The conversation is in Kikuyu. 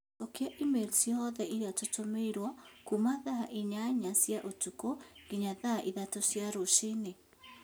Cokia i-mīrū ciothe iria tũtũmĩrũo kuuma thaa inyanya cia ũtukũ nginya thaa ithatũ cia rũcinĩ